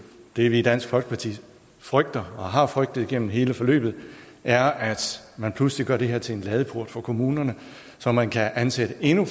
det vi i dansk folkeparti frygter og har frygtet gennem hele forløbet er at man pludselig gør det her til en ladeport for kommunerne så man kan ansætte endnu